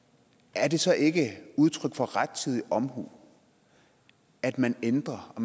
er det så ikke udtryk for rettidig omhu at man ændrer og